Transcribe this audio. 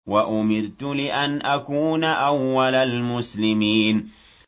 وَأُمِرْتُ لِأَنْ أَكُونَ أَوَّلَ الْمُسْلِمِينَ